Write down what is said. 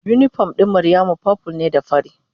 Unipom ɗin Maryamu purple ne da fari.